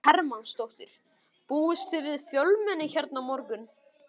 Viktoría Hermannsdóttir: Búist þið við fjölmenni hérna á morgun?